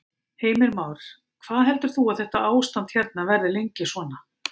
Heimir Már: Hvað heldur þú að þetta ástand hérna verði lengi svona?